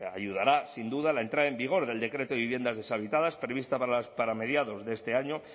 ayudará sin duda la entrada en vigor del decreto de viviendas deshabitadas previsto para mediados de este año